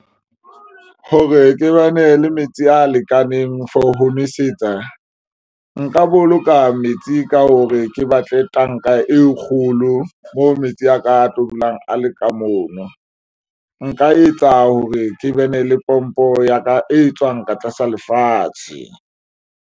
Hore ke bane le metsi a lekaneng for ho nwesetsa nka boloka metsi ka hore ke batle tanka e kgolo mo metsi a ka a tlo dulang a le ka mono. Nka etsa hore ke bene le pompo ya ka e tswang ka tlasa lefatshe.